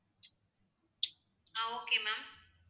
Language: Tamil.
ah okay ma'am